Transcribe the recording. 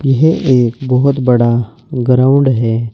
यह एक बहोत बड़ा ग्राउंड है।